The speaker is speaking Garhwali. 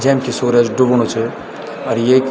जन कि सूरज डुबणू च अर येक।